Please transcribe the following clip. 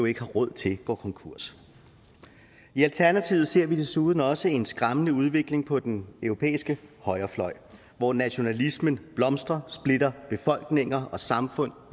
ikke har råd til går konkurs i alternativet ser vi desuden også en skræmmende udvikling på den europæiske højrefløj hvor nationalismen blomstrer og splitter befolkninger og samfund